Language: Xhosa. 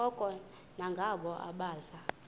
koko ngabo abaza